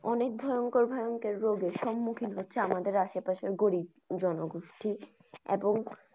অনেক ভয়ংকর ভয়ঙ্কর রোগের সন্মুখিন হচ্ছে আমাদের আসে পাশে গরীব জনগোষ্ঠী এবং।